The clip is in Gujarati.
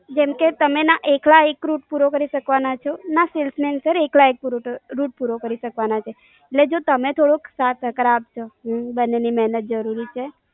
જેમકે, તમે ના એકલા એક Rut પૂરો કરી શકવાના છો, ના Salesman પણ એકલા એક Rut પૂરો કરી શકવાના છે. એટલે જો તમે થોડો સાથ સહકાર આપજો. બન્ને ની મહેનત જરૂરી છે.